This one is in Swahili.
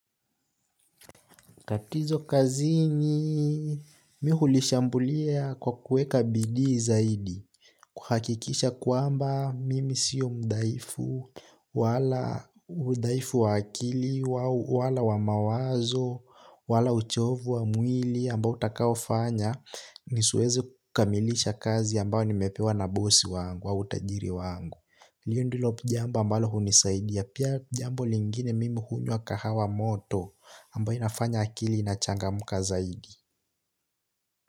Katizo kazini mi hulishambulia kwa kueka bidii zaidi kuhakikisha kuamba mimi siyo mdhaifu wala udhaifu wa akili wala wa mawazo wala uchovu wa mwili ambao utakaofanya nisiweze kamilisha kazi ambayo nimepewa na bosi hiyo ndilo jambo ambalo huni saidi ya pia jambo lingine mimi huni wa kahawa moto ambayo inafanya akili inachangamuka zaidi.